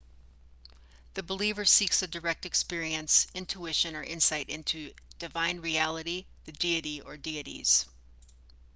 the believer seeks a direct experience intuition or insight into divine reality/the deity or dieties